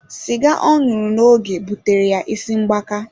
Cigar oṅụru na oge butere ya isi mgbaka.